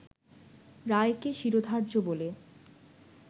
রায়কে ‘শিরোধার্য’ বলে